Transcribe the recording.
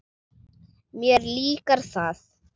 Mér líkar það.